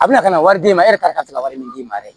A bɛna ka na wari d'e ma e yɛrɛ ka se ka wari min d'i ma yɛrɛ